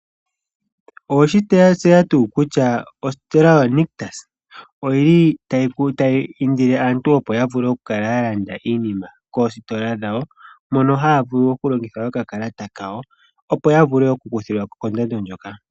Oweshi tseya tuu kutya ositola yoNictus oyi li tayi indile aantu opo ya vule okukala ya landa iinima koositola dhawo mono haya vulu okulongitha okakalata kawo opo ya vule okukuthilwako kondando ndyoka.